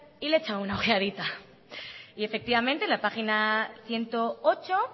y le he echado una ojeadita y efectivamente la página ciento ocho